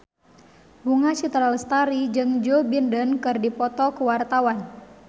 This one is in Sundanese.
Bunga Citra Lestari jeung Joe Biden keur dipoto ku wartawan